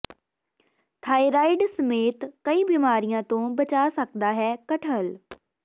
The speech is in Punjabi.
ਥਾਈਰਾਈਡ ਸਮੇਤ ਕਈ ਬੀਮਾਰੀਆਂ ਤੋਂ ਬਚਾ ਸਕਦਾ ਹੈ ਕਟਹਲ